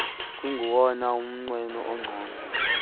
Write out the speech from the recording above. kungowona mnqweno ungcono